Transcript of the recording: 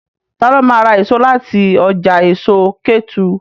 Ta ló ma ra èso láti ọjà èso Kétu?